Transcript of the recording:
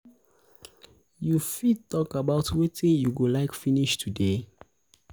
you fit talk about wetin you go like finish today?